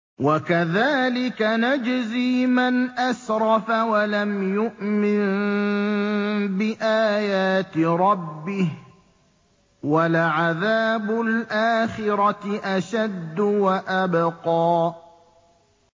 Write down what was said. وَكَذَٰلِكَ نَجْزِي مَنْ أَسْرَفَ وَلَمْ يُؤْمِن بِآيَاتِ رَبِّهِ ۚ وَلَعَذَابُ الْآخِرَةِ أَشَدُّ وَأَبْقَىٰ